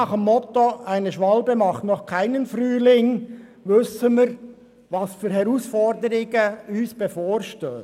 Nach dem Motto, «eine Schwalbe macht noch keinen Frühling», wissen wir, vor was für Herausforderungen wir stehen.